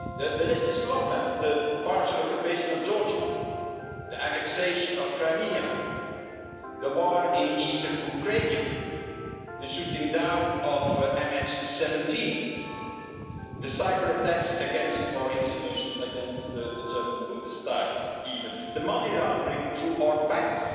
The list is long the partial occupation of Georgia, the annexation of Crimea, the war in eastern Ukraine, the shooting down of MH 17, the cyberattacks against our institutions, against the German Bundestag even, the money laundering through our banks,